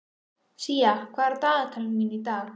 Sía, hvað er á dagatalinu mínu í dag?